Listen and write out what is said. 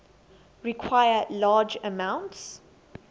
require large amounts